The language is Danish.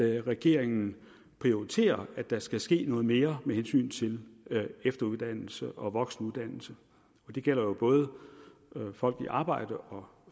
regeringen prioriterer at der skal ske noget mere med hensyn til efteruddannelse og voksenuddannelse det gælder jo både folk i arbejde og